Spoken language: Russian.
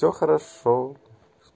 все хорошо